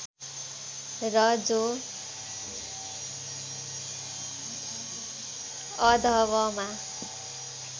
र जो अ॰ध॰व॰मा